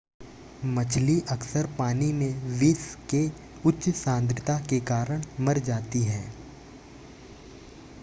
मछली अक्सर पानी में विष के उच्च सांद्रता के कारण मर जाती है